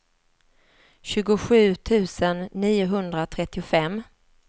tjugosju tusen niohundratrettiofem